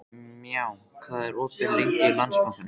Maja, hvað er opið lengi í Landsbankanum?